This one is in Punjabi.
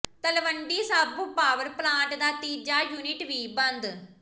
ਤਲਵੰਡੀ ਸਾਬੋ ਪਾਵਰ ਪਲਾਂਟ ਦਾ ਤੀਜਾ ਯੁਨਿਟ ਵੀ ਬੰਦ